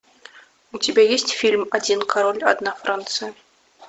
у тебя есть фильм один король одна франция